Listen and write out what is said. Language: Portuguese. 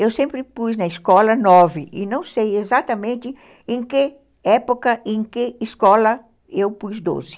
Eu sempre pus na escola nove e não sei exatamente em que época, em que escola eu pus doze.